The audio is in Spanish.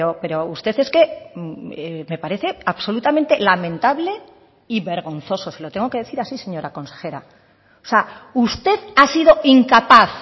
pero usted es que me parece absolutamente lamentable y vergonzoso se lo tengo que decir así señora consejera o sea usted ha sido incapaz